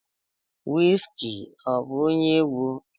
Wizkid ọ bụ onye egwu?